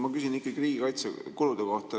Ma küsin ikkagi riigikaitsekulude kohta.